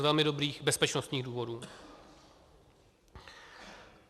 Z velmi dobrých bezpečnostních důvodů.